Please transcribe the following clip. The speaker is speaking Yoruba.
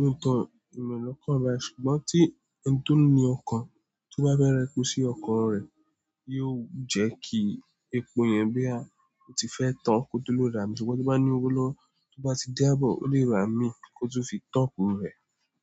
lóòtọ́, èmi ò l'ọkọ̀ báyìí, ṣùgbọ́n tí ẹni tí o ní ọkọ̀ tó bá fẹ́ ra epo sí ọkọ̀ rẹ̀, yóò jẹ́ kí epo yẹn bóyá o ti fẹ́ tán kò tó lè rà á, ṣùgbọ́n tó bá ní owó lọ́wọ́, tó bá ti dé aabọ̀, ó lè rà míì kó tó tún fi top rẹ̀.